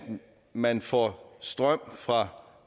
man får strøm fra